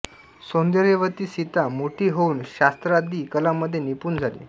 सौंदर्यवती सीता मोठी होऊन शास्त्रादी कलांमध्ये निपुण झाली